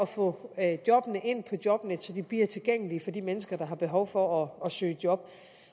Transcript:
få jobbene ind på jobnet så de bliver tilgængelige for de mennesker der har behov for at søge job